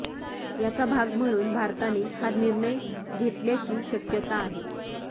याचा भाग म्हणून भारताने हा निर्णय घेतल्याची शक्यता आहे